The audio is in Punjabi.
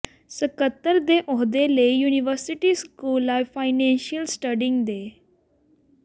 ਸਕੱਤਰ ਦੇ ਅੋਹਦੇ ਲਈ university school of financial studies ਦੇ